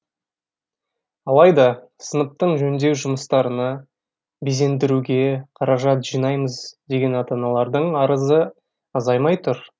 алайда сыныптың жөндеу жұмыстарына безендіруге қаражат жинаймыз деген ата аналардың арызы азаймай тұр